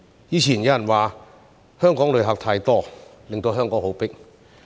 以前有人說香港的旅客太多，令香港很擠迫。